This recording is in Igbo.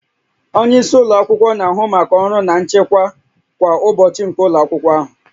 Onye isi ụlọ akwụkwọ na-ahụ maka ọrụ na nchịkwa kwa ụbọchị nke ụlọ akwụkwọ ahụ